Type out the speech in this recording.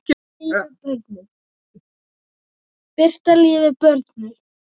Birta Líf er börnuð.